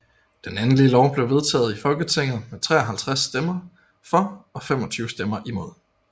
Den endelige lov blev vedtaget i Folketinget med 53 stemmer for og 25 imod